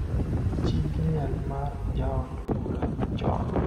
chi liel mar jaod bura machon,